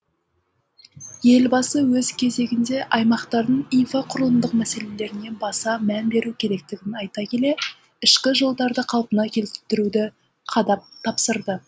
елбасы өз кезегінде аймақтардың инфрақұрылымдық мәселелеріне баса мән беру керектігін айта келе ішкі жолдарды қалпына келтіруді қадап тапсырды